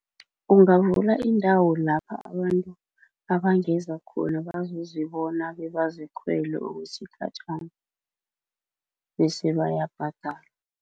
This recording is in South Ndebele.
Ungavula indawo lapha abantu abangeza khona bazozibona bebazikhwele okwesikhatjhana bese bayabhadala.